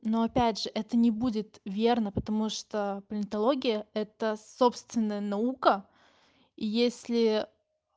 но опять же это не будет верно потому что политология это собственная наука и если